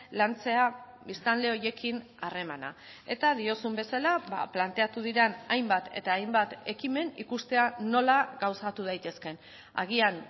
lantzea biztanle horiekin harremana eta diozun bezala planteatu diren hainbat eta hainbat ekimen ikustea nola gauzatu daitezkeen agian